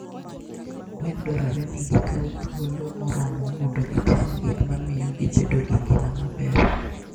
gwen dwarore ni gikaw thuolo moromo mondo gitim gik ma miyo gibedo gi ngima maber.